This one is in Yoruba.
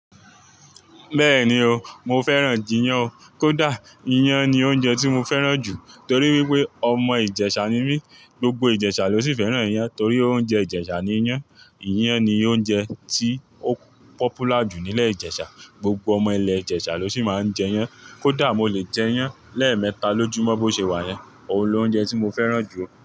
Bẹ́ẹ̀ni o, mo fẹ́ràn jiyán o. Kódà, iyán ni oúnjẹ tí mo fẹ́ràn jù torí wípé ọmọ Ìjẹ̀ṣà ni mí. Gbogbo Ìjẹ̀ṣà ló sì fẹ́ràn iyán torí oúnjẹ Ìjẹ̀ṣà ni iyán. Iyán ni oúnjẹ tí ó popular jù nílẹ̀ Ìjẹ̀ṣà. Gbogbo ọmọ ilẹ̀ Ìjẹ̀ṣà ló sì máa ń jẹ iyán. Kódà mo lè jẹ iyán lẹ́ẹ̀mẹta lójú mọ́ bó ṣe wà yẹn. Òun ni oúnjẹ tí mo fẹ́ràn jù.